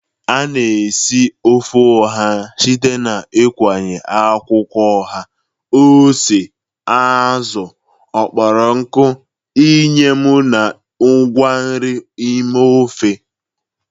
A na-esikarị ofe oha site n'ịkụnye akwụkwọ oha, ose, azụ kpọrọ nkụ, eyịm na ngwa nri n'ime ofe.